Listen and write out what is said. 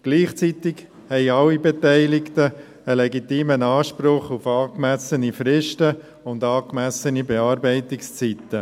Gleichzeitig haben alle Beteiligten einen legitimen Anspruch auf angemessene Fristen und angemessene Bearbeitungszeiten.